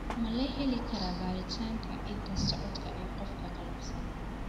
Ma la heli karaa baaritaanka hidda-socodka ee qofka qallafsan?